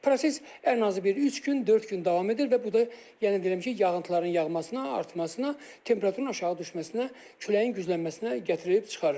Proses ən azı bir üç gün, dörd gün davam edir və bu da yəni deyirəm ki, yağıntıların yağmasına, artmasına, temperaturun aşağı düşməsinə, küləyin güclənməsinə gətirib çıxarır.